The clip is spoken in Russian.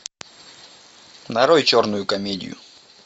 нарой черную комедию